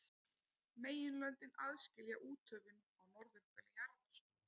Meginlöndin aðskilja úthöfin á norðurhveli jarðar.